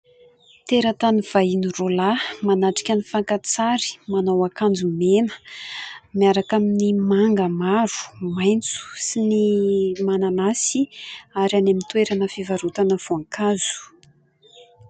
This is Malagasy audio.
Teratany vahiny roa lahy manatrika ny fakan-tsary manao akanjo mena miaraka amin'ny manga maro maintso sy ny mananasy ; ary any amin'ny toerana fivarotana voankazo.